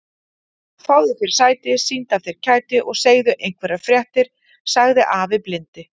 Fáðu þér sæti, sýndu af þér kæti og segðu einhverjar fréttir sagði afi blindi.